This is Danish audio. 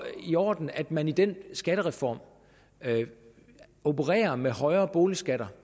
i orden at man i den skattereform opererer med højere boligskatter